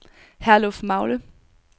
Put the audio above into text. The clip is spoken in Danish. Herlufmagle